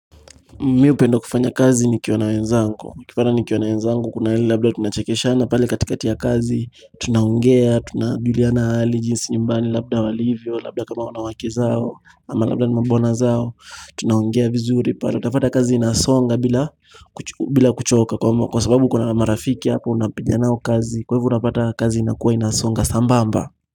Mimi hupenda kufanya kazi nikiwa na wenzangu, Ukipata nikiwa na wenzangu, kuna hili labda tunachekishana pale katikati ya kazi, tunaongea, tunajuliana hali jinsi nyumbani, labda walivyo, labda kama wana wake zao, ama labda ni mambwana zao, tunaongea vizuri pale, utapata kazi inasonga bila bila kuchoka, kwa sababu kuna marafiki hapa unapinga nao kazi, kwa hivo unapata kazi inakuwa inasonga sambamba.